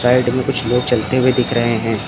Side में कुछ लोग चलते हुए दिख रहे हैं।